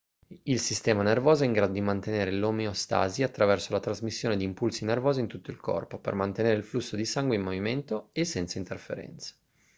il sistema nervoso è in grado di mantenere l'omeostasi attraverso la trasmissione di impulsi nervosi in tutto il corpo per mantenere il flusso di sangue in movimento e senza interferenze